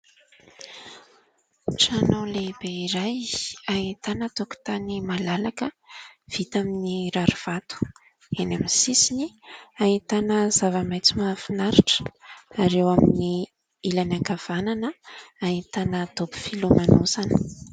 Trano lehibe iray ahitana tokotany malalaka vita amin'ny rarivato, eny amin'ny sisiny ahitana zava-maitso mahafinaritra ary eo amin'ny ilany ankavanana ahitana dobo filomanosana.